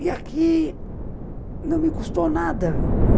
E aqui não me custou nada.